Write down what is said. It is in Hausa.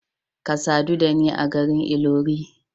Ka sadu da ni a garin Ilori.